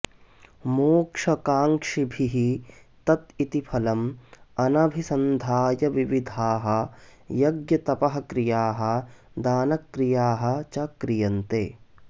मोक्षकाङ्क्षिभिः तत् इति फलम् अनभिसन्धाय विविधाः यज्ञतपःक्रियाः दानक्रियाः च क्रियन्ते